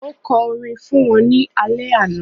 Ó kọ orin fún wọn ní alẹ́ àná.